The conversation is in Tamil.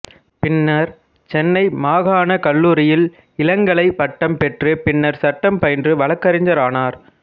பின்னர் சென்னை மாகாணக் கல்லூரியில் இளங்கலை பட்டம் பெற்று பின்னர்சட்டம் பயின்று வழக்கறிஞரானார்